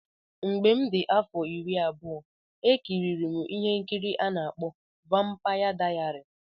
Mgbe m dị afọ iri abụọ E kiri M ihe nkiri a na-akpọ Vampaya Dayari.